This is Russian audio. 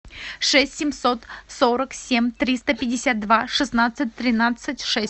шесть семьсот сорок семь триста пятьдесят два шестнадцать тринадцать шесть